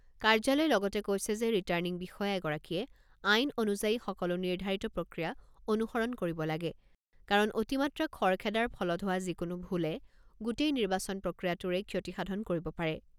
কাৰ্যালয়ে লগতে কৈছে যে ৰিটাৰ্ণিং বিষয়া এগৰাকীয়ে আইন অনুযায়ী সকলো নিৰ্ধাৰিত প্ৰক্ৰিয়া অনুসৰণ কৰিব লাগে কাৰণ অতিমাত্ৰা খৰখেদাৰ ফলত হোৱা যিকোনো ভুলে গোটেই নিৰ্বাচন প্ৰক্ৰিয়াটোৰেই ক্ষতিসাধণ কৰিব পাৰে।